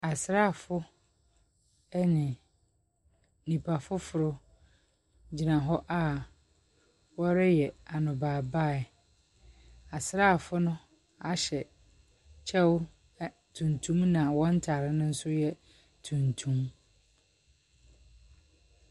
Asraafo ne nnipa foforɔ gyina hɔ a wɔreyɛ anɔbaebae. Asraafo no ahyɛ kyɛw ɛ tuntum na wɔn ntare no nso yɛ tuntum.